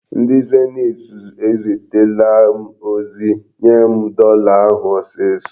Ndị Zenit eziterela m ozi. Nye m dọla ahụ ọsịsọ!